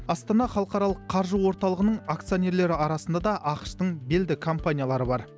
астана халықаралық қаржы орталығының акционерлері арасында да ақш тың белді компаниялары бар